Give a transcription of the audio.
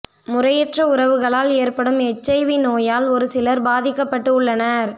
முறையற்ற உறவுகளால் ஏற்படும் எச்ஐவி நோயால் ஒரு சிலர் பாதிக்கப்பட்டு உள்ளனர்